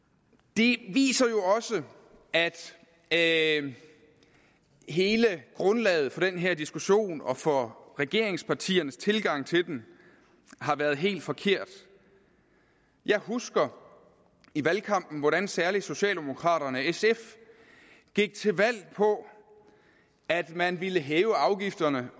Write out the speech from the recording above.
det viser jo også at at hele grundlaget for den her diskussion og for regeringspartiernes tilgang til den har været helt forkert jeg husker i valgkampen hvordan særlig socialdemokraterne og sf gik til valg på at man ville hæve afgifterne